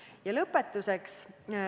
Ning lõpetuseks.